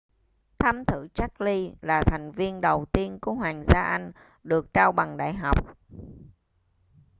thái tử charles là thành viên đầu tiên của hoàng gia anh được trao bằng đại học